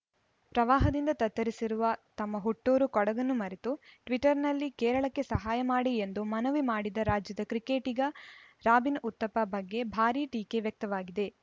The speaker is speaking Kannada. ಪ್ರವಾಹದಿಂದ ತತ್ತರಿಸಿರುವ ತಮ್ಮ ಹುಟ್ಟೂರು ಕೊಡಗನ್ನು ಮರೆತು ಟ್ವೀಟರ್‌ನಲ್ಲಿ ಕೇರಳಕ್ಕೆ ಸಹಾಯ ಮಾಡಿ ಎಂದು ಮನವಿ ಮಾಡಿದ ರಾಜ್ಯದ ಕ್ರಿಕೆಟಿಗ ರಾಬಿನ್‌ ಉತ್ತಪ್ಪ ಬಗ್ಗೆ ಭಾರೀ ಟೀಕೆ ವ್ಯಕ್ತವಾಗಿದೆ